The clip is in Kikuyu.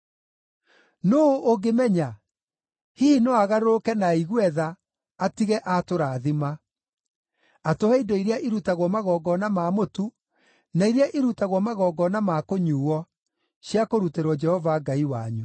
Nũũ ũngĩmenya? Hihi no agarũrũke na aigue tha, atige atũrathima: atũhe indo iria irutagwo magongona ma mũtu, na iria irutagwo magongona ma kũnyuuo, cia kũrutĩrwo Jehova Ngai wanyu.